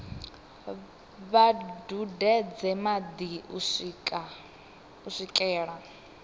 vha dudedze madi u swikela